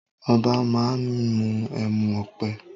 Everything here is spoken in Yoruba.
Obá má mí emu-ọpẹ́